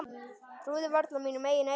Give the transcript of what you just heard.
Trúði varla mínum eigin eyrum.